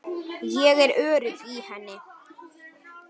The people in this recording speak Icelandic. Ég er örugg í henni.